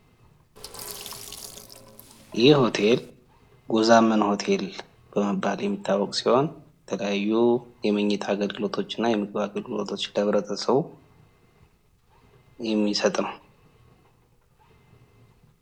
ይህ ሆቴል ጎዛመን ሆቴል በመባል የሚታወቅ ሲሆን የተለያዩ የምኝታ ና የምግብ አገልግሎቶችን ለህብረተሰቡ የሚሰጥ ነው።